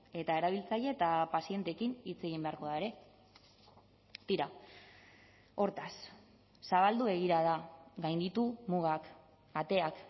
eta erabiltzaile eta pazienteekin hitz egin beharko da ere tira hortaz zabaldu begirada gainditu mugak ateak